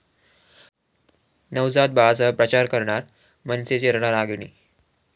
नवजात बाळासह प्रचार करणार मनसेची रणरागिणी